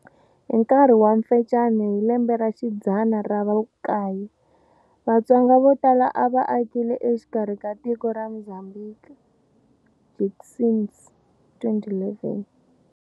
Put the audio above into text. Hi nkarhi wa Mfecane hi lembe xidzana ra vukaye, Vatsonga vo tala a va akile exikarhi ka tiko ra Mozambiki, Jenkins, 2011.